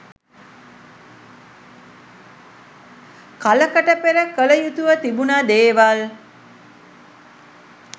කලකට පෙර කළ යුතුව තිබුණ දේවල්.